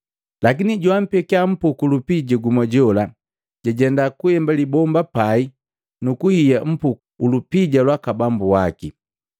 Lakini joampekia mpuku ulupija gumu jola, jajenda kuemba libomba pai nukuhiya mpuku ulupija lwaka bambu waki.”